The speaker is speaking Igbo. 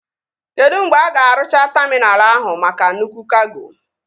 Kedụ mgbe a ga-arụcha taminal ahụ maka nnukwu kago?